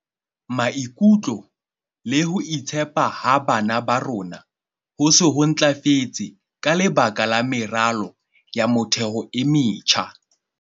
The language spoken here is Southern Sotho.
"Maikutlo le ho itshepa ha bana ba rona ho se ho ntlafetse ka lebaka la meralo ya motheo e metjha."